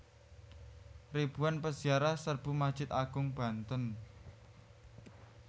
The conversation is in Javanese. Ribuan Peziarah Serbu Masjid Agung Banten